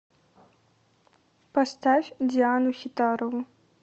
поставь диану хитарову